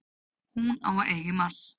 Hún á að eiga í mars.